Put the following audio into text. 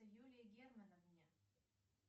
юлии германовне